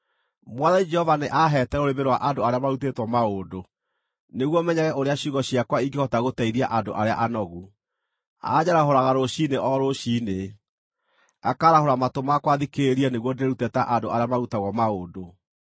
Mwathani Jehova nĩaahete rũrĩmĩ rwa andũ arĩa marutĩtwo maũndũ, nĩguo menyage ũrĩa ciugo ciakwa ingĩhota gũteithia andũ arĩa anogu. Anjarahũraga rũciinĩ o rũciinĩ, akaarahũra matũ makwa thikĩrĩrie nĩguo ndĩĩrute ta andũ arĩa marutagwo maũndũ.